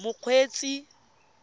mokgweetsi